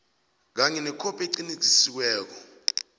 kanye nekhophi eqinisekisiweko